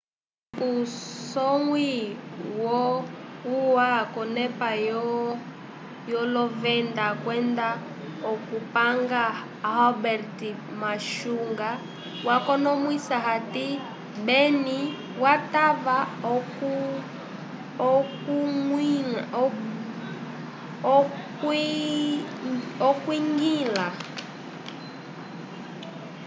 usonwi wo ua k'onepa yolovenda kwenda okupanga albert muchanga wakonomwisa hati benim yatava okwiñgila